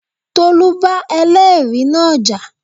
Tolú bá ẹlẹ́ẹ̀rí náà jà